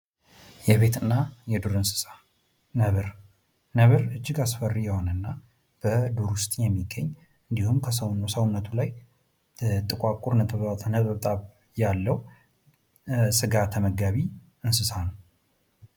የቤትና የዱር እንስሳት ነብር፡- ነብር እጅግ አስፈሪ የሆነና ዱር ውስጥ የሚገኝ እንዲሁም በሰውነቱ ላይ ጥቋቁር ነጠብጣብ ያለው ስጋ ተመጋቢ እንስሳት ነው።